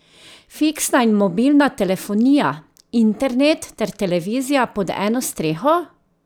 Fiksna in mobilna telefonija, internet ter televizija pod eno streho?